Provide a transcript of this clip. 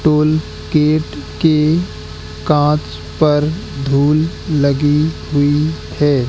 Toll gate के कांच पर धूल लगी हुई है।